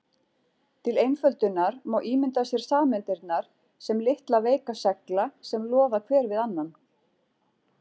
Til einföldunar má ímynda sér sameindirnar sem litla veika segla sem loða hver við annan.